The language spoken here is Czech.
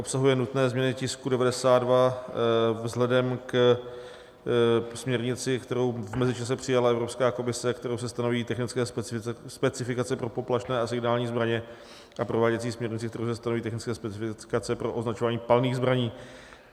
Obsahuje nutné změny tisku 92 vzhledem ke směrnici, kterou v mezičase přijala Evropská komise, kterou se stanoví technické specifikace pro poplašné a signální zbraně, a prováděcí směrnici, kterou se stanoví technické specifikace pro označování palných zbraní.